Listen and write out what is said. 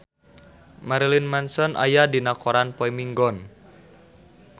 Marilyn Manson aya dina koran poe Minggon